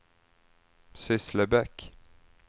Sysslebäck